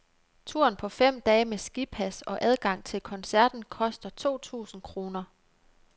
Turen på fem dage med skipas og adgang til koncerten koster to tusinde kroner.